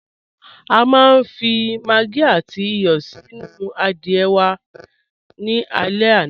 A fi màggí àtì ìyọ́ sínu àdìẹ̀ wà ní àlẹ̀ àná.